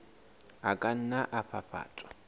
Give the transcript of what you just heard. a ka nna a fafatswa